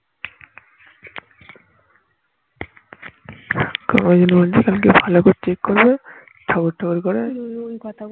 আমার মনে হয় ভালো করে check করলে ঠাকুর ঠাকুর করে